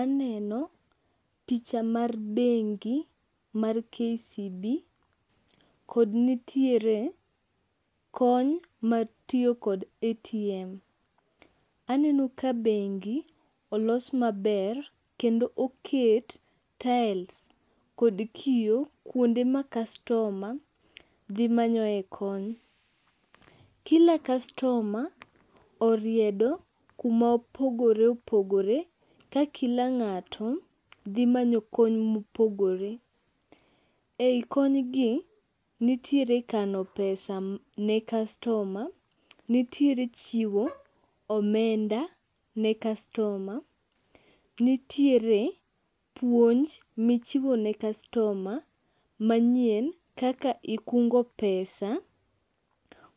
Aneno picha mar bengi mar KCB kod nitiere kony matiyo kod ATM. Aneno ka bengi olos maber kendo oket tiles kod kio kuonde ma kastoma dhi manyoe kony. Kila kastoma oriedo kuma opogore opogore ka kila ng'ato dhi manyo kony mopogore. E i konygi nitiere kano pesa ne kastoma, nitiere chiwo omenda ne kastoma, nitiere puonj michiwo ne kastoma manyien kaka ikungo pesa